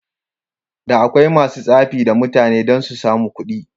Da akwai masu tsafi da mutane dan susamu kuɗi.